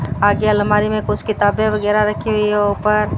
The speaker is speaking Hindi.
आगे अलमारी में कुछ किताबें वगैरा रखी हुई है ऊपर--